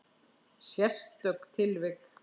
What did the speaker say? Sérstök tilvik.